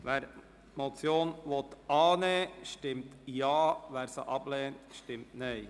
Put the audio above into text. Wer die Motion annehmen will, stimmt Ja, wer sie ablehnt, stimmt Nein.